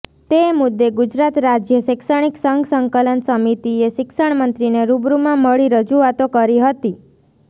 તે મુદ્દે ગુજરાત રાજ્ય શૈક્ષણિક સંઘ સંકલન સમિતિએ શિક્ષણમંત્રીને રૂબરૂમાં મળી રજૂઆતો કરી હતી